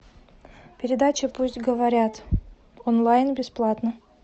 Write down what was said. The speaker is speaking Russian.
передача пусть говорят онлайн бесплатно